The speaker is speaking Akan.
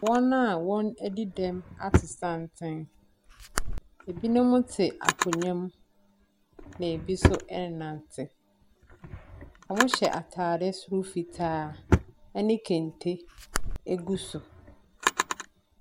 Wɔn a wɔn adi dɛm ato santene ebinom te akonya mu, ɛna ebi nso ɛnante. Ɔmo hyɛ ataare soro fitaa a kente agu so.